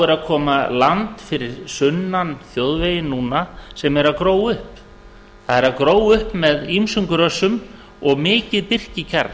er að koma land fyrir sunnan þjóðveginn núna sem er að gróa upp það er að gróa upp með tímum grösum og mikið birkikjarri